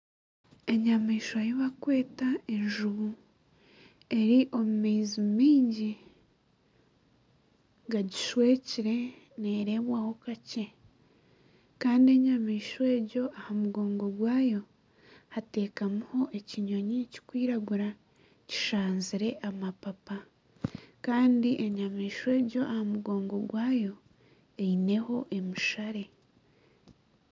Enyamaishwa ei barikweta enjubu eri omu maizi maingi gagishwekire neerebwaho kakye Kandi enyamaishwa egyo aha mugongo gwaayo hatekamireho ekinyonyi kirikwiragura kishanzireho amapapa Kandi enyamaishwa egyo aha mugongo gwaayo eineho emishare